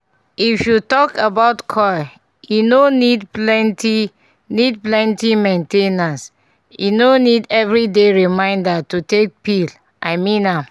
if you talk about coil e no need plenty need plenty main ten ance - e no need every day reminder to take pill i mean am